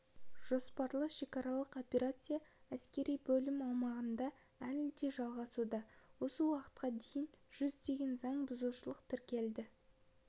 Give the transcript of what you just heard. жоспарлы шекаралық операция әскери бөлім аумағында әлі де жалғасуда осы уақытқа дейін жүздеген заң бұзушылық тіркелді